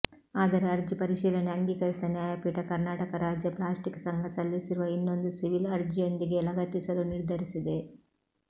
ಆದರೆ ಅರ್ಜಿ ಪರಿಶೀಲನೆ ಅಂಗೀಕರಿಸಿದ ನ್ಯಾಯಪೀಠ ಕರ್ನಾಟಕ ರಾಜ್ಯ ಪ್ಲಾಸ್ಟಿಕ್ ಸಂಘ ಸಲ್ಲಿಸಿರುವ ಇನ್ನೊಂದು ಸಿವಿಲ್ ಅರ್ಜಿಯೊಂದಿಗೇ ಲಗತ್ತಿಸಲು ನಿರ್ಧರಿಸಿದೆ